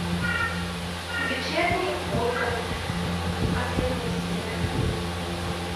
вечерний ургант последняя серия